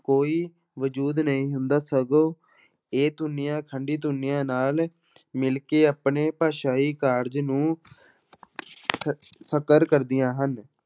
ਕੋਈ ਵਜੂਦ ਨਹੀਂ ਹੁੰਦਾ, ਸਗੋਂ ਇਹ ਧੁਨੀਆਂ ਖੰਡੀ ਧੁਨੀਆਂ ਨਾਲ ਮਿਲ ਕੇ ਆਪਣੇ ਭਾਸ਼ਾਈ ਕਾਰਜ ਨੂੰ ਸ~ ਸਾਕਾਰ ਕਰਦੀਆਂ ਹਨ।